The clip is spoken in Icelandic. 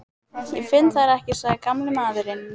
Ég finn þær ekki sagði gamli maðurinn.